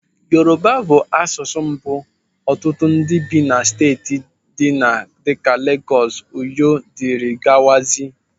Yoruba bụ asụsụ mbụ ọtụtụ ndị bi na steeti ndị dịka Legọs, Ọyọ, dirigawazia.